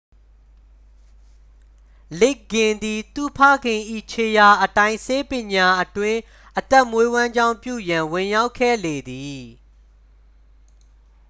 လစ်ဂ်ဂင် သည် သူ့ဖခင်၏ ခြေရာအတိုင်း ဆေးပညာအတွင်း အသက်မွေးဝမ်းကြောင်းပြုရန် ဝင်ရောက်ခဲ့လေသည်